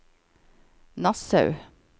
Nassau